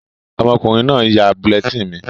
Ọmọkùnrin náà n yá bulletin mi